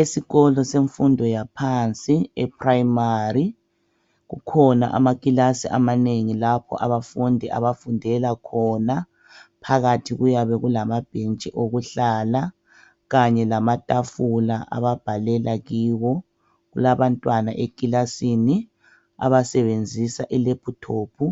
Esikolo semfundo yaphansi eprimary kukhona amakilasi amanengi lapho abafundi abafundela khona. Phakathi kuyabe kulamabhentshi okuhlala kanye lamatafula ababhalela kiwo. Kulabantwana ekilasini abasebenzisa ilephuthophu